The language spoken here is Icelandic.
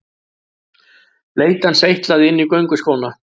Bleytan seytlaði inn í gönguskóna.